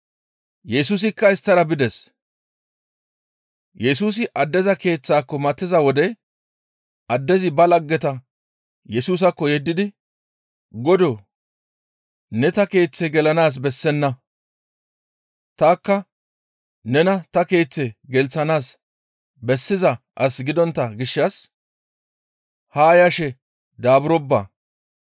Yesusikka isttara bides. Yesusi addeza keeththaako matiza wode addezi ba laggeta Yesusaakko yeddidi, «Godoo! Ne ta keeththe gelanaas bessenna; tanikka nena ta keeththe gelththanaas bessiza as gidontta gishshas haa yashe daaburoppa.